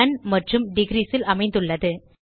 known மற்றும் degrees ல் அமைந்துள்ளது